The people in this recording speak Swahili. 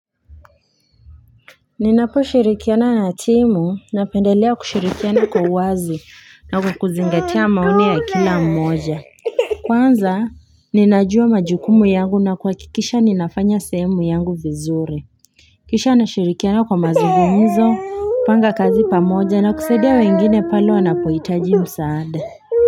Ninaposhirikiana na timu napendelea kushirikiana kwa wazi na kukuzingatia maoni ya kila mmoja. Kwanza, ninajua majukumu yangu na kuhakikisha ninafanya sehemu yangu vizuri. Kisha nashirikiana kwa mazugumzo, panga kazi pamoja na kusaidia wengine pale wanapoitaji msaade.